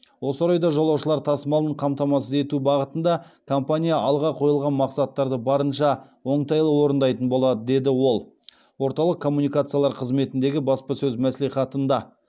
осы орайда жолаушылар тасымалын қамтамасыз ету бағытында компания алға қойылған мақсаттарды барынша оңтайлы орындайтын болады деді ол орталық коммуникациялар қызметіндегі баспасөз мәслихатында